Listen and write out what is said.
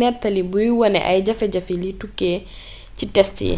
néttali buy wone ay jafe-jafe li tukkee ci test yi